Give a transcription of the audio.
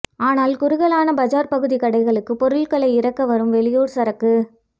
ஆனால் குறுகலான பஜார் பகுதி கடைகளுக்கு பொருட்களை இறக்க வரும் வெளியூர் சரக்கு